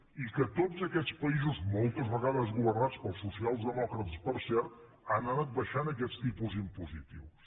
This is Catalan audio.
i que tots aquests països moltes vegades governats pels socialdemòcrates per cert han anat abaixant aquests tipus impositius